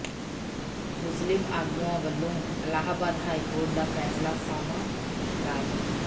ਮੁਸਲਿਮ ਆਗੂਆਂ ਵੱਲੋਂ ਅਲਾਹਾਬਾਦ ਹਾਈਕੋਰਟ ਦਾ ਫੈਸਲਾ ਸਾਵਾਂ ਕਰਾਰ